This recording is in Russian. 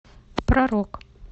про рок